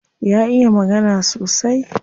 Ya iya magana sosai.